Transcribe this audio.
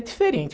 É diferente.